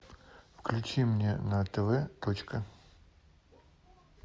включи мне на тв точка